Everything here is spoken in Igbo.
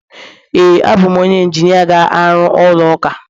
ee, abụ m onye injinia ga-arụ ụlọ ụka